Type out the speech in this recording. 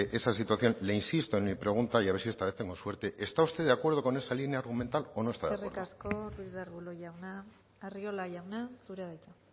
esa situación le insisto en mi pregunta y a ver si esta vez tengo suerte está usted de acuerdo con esa línea argumental o no está de acuerdo eskerrik asko ruiz de arbulo jauna arriola jauna zurea da hitza